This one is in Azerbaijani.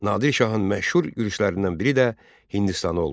Nadir Şahın məşhur yürüşlərindən biri də Hindistana olmuşdu.